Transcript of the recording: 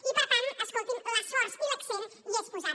i per tant escolti’m l’esforç i l’accent hi és posat